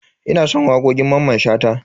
Ina son wakokin Mamman Shata.